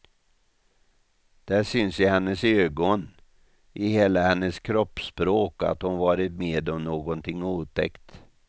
Det syns i hennes ögon, i hela hennes kroppsspråk att hon varit med om någonting otäckt.